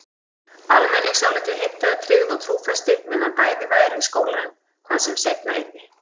Almenningsálitið heimtaði tryggð og trúfesti meðan bæði væru í skólanum, hvað sem seinna yrði.